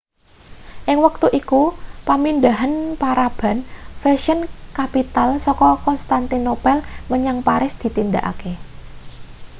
ing wektu iku pamindhahan paraban fashion capital saka konstantinopel menyang paris ditindakake